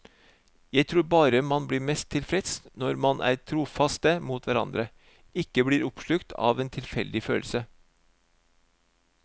Jeg tror bare man blir mest tilfreds når man er trofaste mot hverandre, ikke blir oppslukt av en tilfeldig følelse.